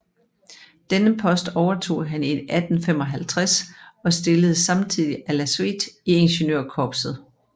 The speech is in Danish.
Denne post overtog han i 1855 og stilledes samtidig à la suite i Ingeniørkorpset